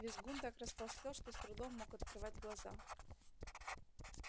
визгун так растолстел что с трудом мог открывать глаза